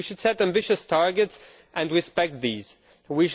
We should set ambitious targets and respect them.